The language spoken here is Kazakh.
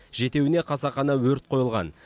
жетеуіне қасақана өрт қойылған